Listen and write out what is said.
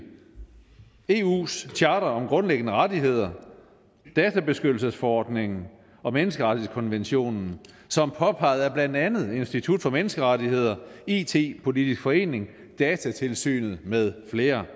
eus charter om grundlæggende rettigheder databeskyttelsesforordningen og menneskerettighedskonventionen som påpeget af blandt andet institut for menneskerettigheder it politisk forening datatilsynet med flere